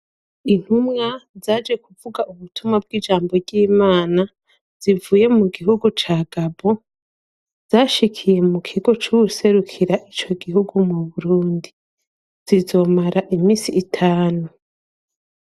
Intumwa zaje kuvuga ubutumwa bw'ijambo ry'Imana zivuye mu gihugu ca Gabo, zashikiye mu kigo c'uwuserukira ico gihugu mu Burundi zizomara imisi itanu.